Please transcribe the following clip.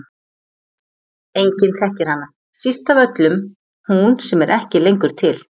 Enginn þekkir hana, síst af öllum hún sem er ekki lengur til.